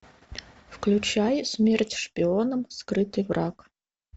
включай смерть шпионам скрытый враг